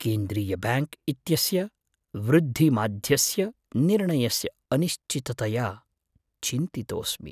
केन्द्रीयब्याङ्क् इत्यस्य वृद्धिमाध्यस्य निर्णयस्य अनिश्चिततया चिन्तितोस्मि।